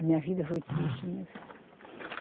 A minha vida foi triste, minha filha.